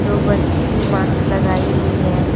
दो बच्ची माक्स लगाई हुई है।